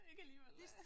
Ikke alligevel